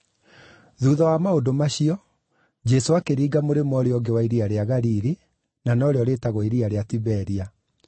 Thuutha wa maũndũ macio, Jesũ akĩringa mũrĩmo ũrĩa ũngĩ wa Iria rĩa Galili (na norĩo rĩĩtagwo Iria rĩa Tiberia),